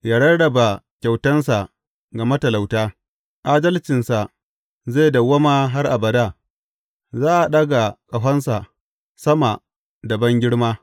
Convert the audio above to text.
Ya rarraba kyautansa ga matalauta, adalcinsa zai dawwama har abada; za a ɗaga ƙahonsa sama da bangirma.